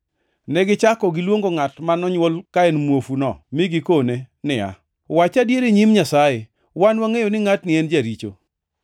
Negichako giluongo ngʼat ma nonywol ka en muofuno mi gikone niya, “Wach adier e nyim Nyasaye! Wan wangʼeyo ni ngʼatni en jaricho.”